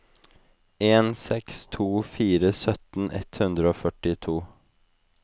en seks to fire sytten ett hundre og førtito